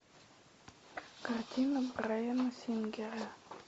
картина брайана сингера